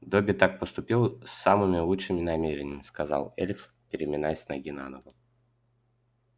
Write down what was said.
добби так поступил с самыми лучшими намерениями сказал эльф переминаясь с ноги на ногу